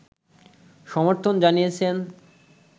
সমর্থন জানিয়েছেন